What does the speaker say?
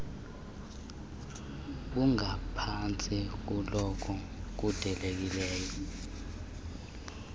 bungaphantsi kunobo bulindelekileyo